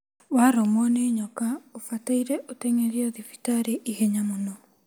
Warũmwo nĩ nyoka ũbataire ũteng'erio thibitarĩ ihenya mũno